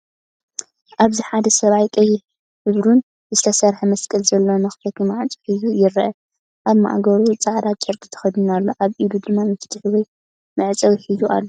ኣብዚ ፡ ሓደ ሰብኣይ ቀይሕን ብሩርን ዝተሰርሐ መስቀል ዘለዎ መኽፈቲ ማዕጾ ሒዙ ይርአ። ኣብ ማእገሩ ጻዕዳ ጨርቂ ተከዲኑ ኣሎ፡ ኣብ ኢዱ ድማ መፍትሕ ወይ መዕጸዊ ሒዙ ኣሎ።